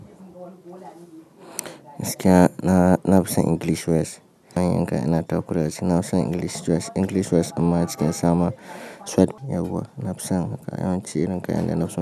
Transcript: Gaskiya na na fison English word, zan diga yi ina ta kurashi na fison English words yawwa na fi son. Mukai yawanci irin kayan da na fi son.